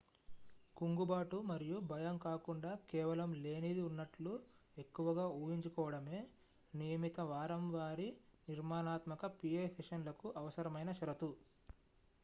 కుంగుబాటు మరియు భయం కాకుండా కేవలం లేనిది ఉన్నట్లు ఎక్కువగా ఊహించుకోవడమే నియమిత వారంవారీ నిర్మాణాత్మక pa సెషన్లకు అవసరమైన షరతు